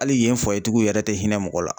Ali yen fuwayetigiw yɛrɛ te hinɛ mɔgɔ la